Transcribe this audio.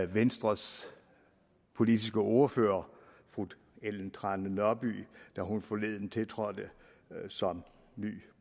venstres politiske ordfører fru ellen trane nørby da hun forleden tiltrådte som